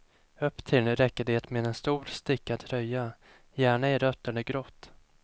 Upptill räcker det med en stor stickad tröja, gärna i rött eller grått.